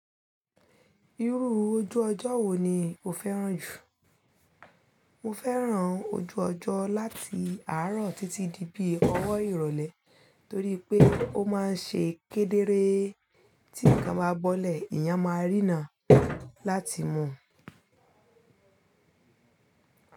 Irú ojú ọjọ́ wo ni o fẹ́ràn jù? Mo fẹ́ràn ojú ọjọ́ láti àárọ̀ títí di bí ọwọ́ ìrọ̀lẹ́ torí pé ó máa ń ṣe kedere. Tí nǹkan bá bọ́lẹ̀, ìyàn máa rína láti mu.